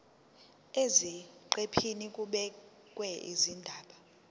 eziqephini kubhekwe izindaba